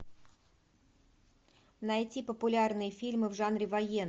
найти популярные фильмы в жанре военный